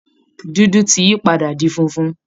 Dúdú ti yí padà di funfun